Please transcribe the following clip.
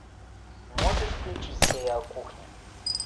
можешь включить сериал кухня